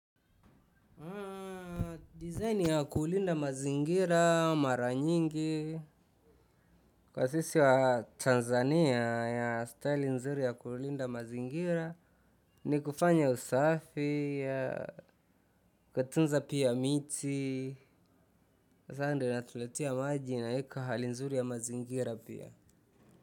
Design ya kuulinda mazingira mara nyingi kwa sisi wa Tanzania ya staili nzuri ya kuulinda mazingira. Ni kufanya usafi na kutunza pia miti, kwa sababu inatuletea maji na hewa nzuri ya mazingira pia.